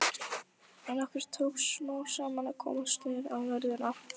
En okkur tókst smám saman að komast niður á jörðina.